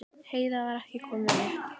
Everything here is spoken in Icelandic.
Heiða var ekki komin upp.